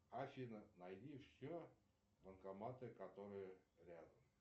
афина найди все банкоматы которые рядом